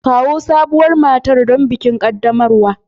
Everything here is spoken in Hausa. Kawo sabuwar matar don bikin qaddamarwa.